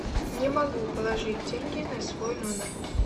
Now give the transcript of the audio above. не могу положить деньги на свой номер